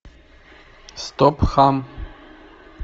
стоп хам